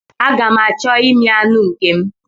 Aga m achọ imi anụ nke m.